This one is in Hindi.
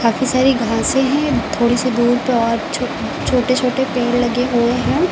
बहुत सारी घासें हैं थोड़ी सी दूर पे और छो छोटे छोटे पेड़ लगे हुए हैं।